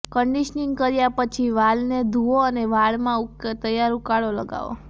conditioning કર્યા પછી વાલને ધુઓ અને વાળમાં તૈયાર ઉકાળો લગાવો